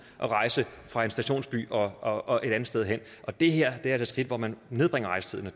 at rejse fra en stationsby og og et andet sted hen og det her er altså et skridt hvor man nedbringer rejsetiden